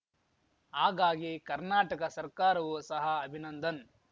ಹಾಗಾಗಿ ಕರ್ನಾಟಕ ಸರ್ಕಾರವು ಸಹ ಅಭಿನಂದನ್